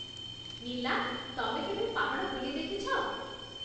ନୀଲା, ତମେ କେବେ ପାହାଡ଼ ବୁଲି ଦେଖିଛ?